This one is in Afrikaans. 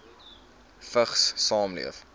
vigs saamleef